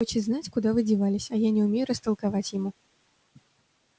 хочет знать куда вы девались а я не умею растолковать ему